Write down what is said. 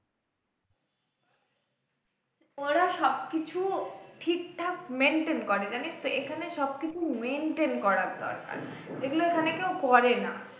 ওরা সবকিছু ঠিকঠাক maintain করে জানিস তো এখানে সবকিছু maintain করার দরকার এগুলো এখানে কেউ করেনা